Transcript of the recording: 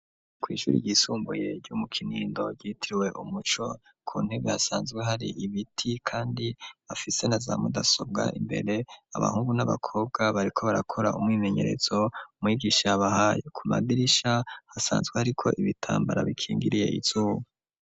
Kw'ishuru ryisumbuye ry'umu kinindo ritiriwe umuco ku ntege hasanzwe hari ibiti, kandi afise na za mudasobwa imbere abahungu n'abakobwa bariko barakora umwimenyerezo mwigisha bahaye ku madirisha hasanzwe hari ko ibitambara bikingiriye izuba.